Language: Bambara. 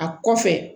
A kɔfɛ